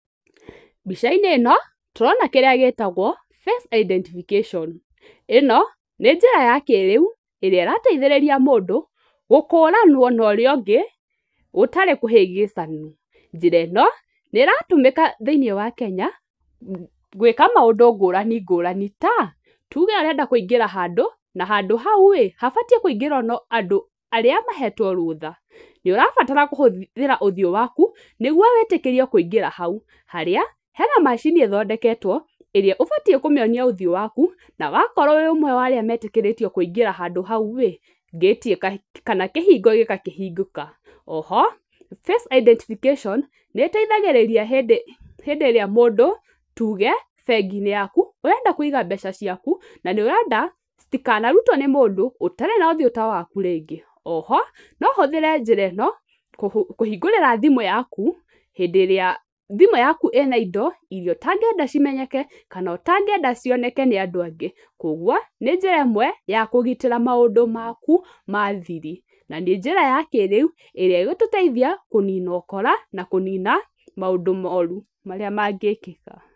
Mbica-inĩ ĩno tũrona kĩrĩa gĩtagwo face identification, ĩno nĩ njĩra ya kĩrĩu, ĩrĩa ĩrateithĩrĩria mũndũ gũkũranwo na ũrĩa ũngĩ gũtarĩ kũhĩngĩcani, njĩra ĩno nĩ ĩratũmĩka thĩinĩ wa Kenya, gwĩka mũndũ ngũrani ngũrani ta tuge arenda kũingĩra handũ, na handũ hau rĩ habatiĩ kũingĩrwo no andũ arĩa mahetwo rũtha, nĩ ũrabatara kũhũthĩra ũthiũ waku, nĩguo wĩtĩkĩrio kũingĩra hau, harĩa hena macini ĩthondeketwo ĩrĩa ũbatiĩ kũmĩonia ũthiũ waku, na wakorwo wĩ ũmwe wa arĩa metĩkĩtio kũingĩra handũ hau rĩ, ngĩti kana kĩhingo gĩgakĩhingũka, oho face identification, nĩ ĩteithagĩrĩria hĩndĩ ĩrĩa mũndũ tuge bengi-inĩ yaku ũrenda kũiga mbeca ciaku, na nĩũrenda citikanarutwo nĩ mũndũ ũtarĩ na ũthiũ ta waku rĩngĩ, oho no ũhũthĩre njĩra ĩno, kũhingũrĩra thimũ yaku, hĩndĩ ĩrĩa thimũ yaku ĩna indo, iria ũtangĩenda cimenyeke kana ũtangĩenda cioneke nĩ andũ angĩ, koguo nĩ njĩra ĩmwe ya kũgitĩra maũndũ maku ma thiri, na nĩ njĩra ya kĩrĩu ĩrĩa ĩgũtũteithia kũnina ũkora na kũnina maũndũ moru marĩa mangĩkĩka.